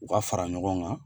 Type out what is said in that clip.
U ka fara ɲɔgɔn kan